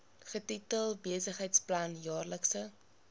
getitel besigheidsplan jaarlikse